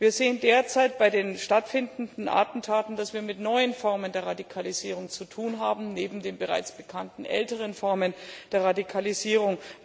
Wir sehen derzeit bei den stattfindenden Attentaten, dass wir es mit neuen Formen der Radikalisierung zu tun haben, neben den bereits bekannten älteren Formen der Radikalisierung.